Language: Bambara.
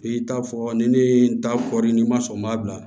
I t'a fɔ ni ne ye n ta kɔri ni n ma sɔn n m'a bila